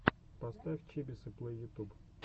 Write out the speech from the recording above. поставь чибисы плэй ютуб